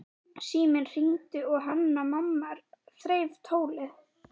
Síminn hringdi og Hanna-Mamma þreif tólið.